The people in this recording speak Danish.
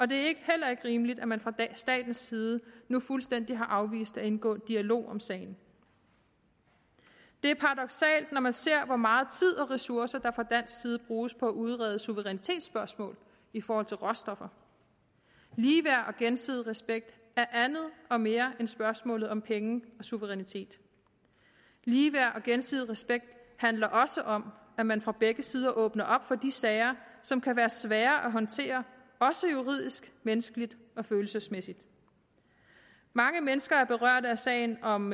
det er heller ikke rimeligt at man fra statens side nu fuldstændig har afvist at indgå i en dialog om sagen det er paradoksalt når man ser hvor meget tid og ressourcer der fra dansk side bruges på at udrede suverænitetsspørgsmål i forhold til råstoffer ligeværd og gensidig respekt er andet og mere end spørgsmålet om penge og suverænitet ligeværd og gensidig respekt handler også om at man fra begge sider åbner op for de sager som kan være svære at håndtere også juridisk menneskeligt og følelsesmæssigt mange mennesker er berørt af sagen om